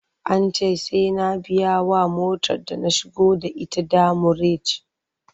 An ce sai na biyawa motar da na shigo da ita demurej.